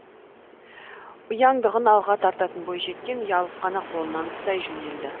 ұяңдығын алға тартатын бойжеткен ұялып қана қолынан ұстай жөнелді